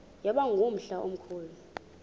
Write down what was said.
yaba ngumhla omkhulu